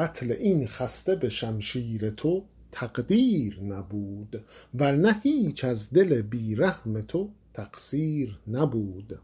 قتل این خسته به شمشیر تو تقدیر نبود ور نه هیچ از دل بی رحم تو تقصیر نبود